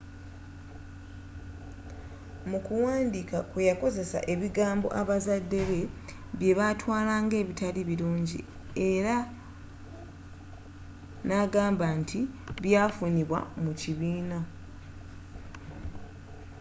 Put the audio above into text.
mu kuwandiika kwe yakozesa ebigambo abazadde be byebatwala nga ebitali bulungi ere nagamba nti byafunibwa mu kibiina